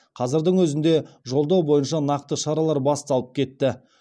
қазірдің өзінде жолдау бойынша нақты шаралар басталып кетті